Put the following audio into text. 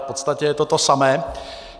V podstatě to je to samé.